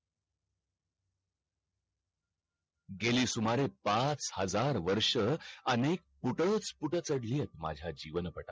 गेली सुमारे पाच हजार वर्ष अनेक कुडळत कूड छाडलीयेत माझा जीवन पाठावर